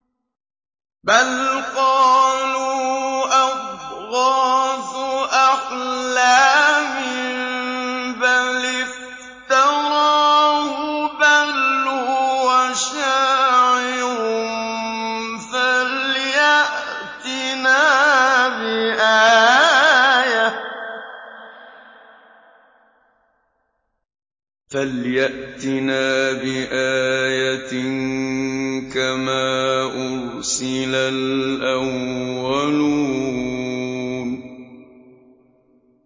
بَلْ قَالُوا أَضْغَاثُ أَحْلَامٍ بَلِ افْتَرَاهُ بَلْ هُوَ شَاعِرٌ فَلْيَأْتِنَا بِآيَةٍ كَمَا أُرْسِلَ الْأَوَّلُونَ